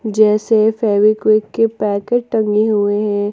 जैसे फेवीक्विक के पैकेट टंगे हुए हैं।